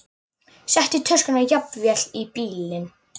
Settu töskuna jafnvel í bílinn.